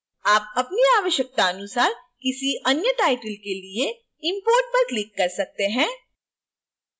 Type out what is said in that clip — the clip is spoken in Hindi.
आप अपनी आवश्यकतानुसार किसी any title के लिए import पर click कर सकते हैं